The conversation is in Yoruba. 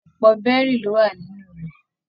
Ọpọ bẹrì lo wà nínú rẹ